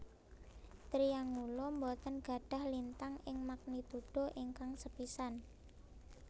Triangulum boten gadhah lintang ing magnitudo ingkang sepisan